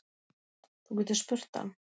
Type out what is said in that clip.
Þú getur spurt hann.